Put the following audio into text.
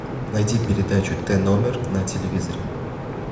найди передачу т номер на телевизоре